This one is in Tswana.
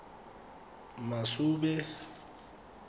masube